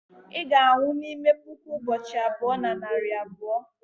ị ga-anwụ n'ime puku ụbọchị abụọ na narị abụọ